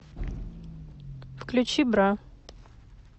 включи бра